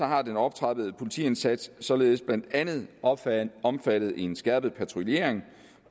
har den optrappede politiindsats således blandt andet omfattet omfattet en skærpet patruljering